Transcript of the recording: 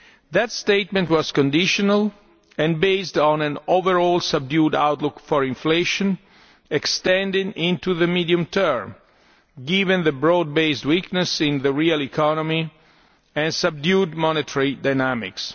That statement was conditional and based on an overall subdued outlook for inflation extending into the medium term, given the broad based weakness of the real economy and subdued monetary dynamics.